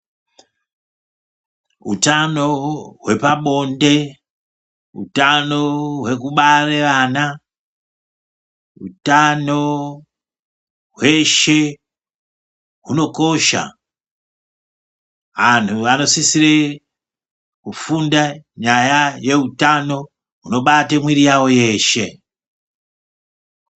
Utano hwepa bonde hutano hweku bare ana hutano hweshe huno kosha anhu anosisire kufunda nyaya ye utano huno bate mwiri yavo yeshe.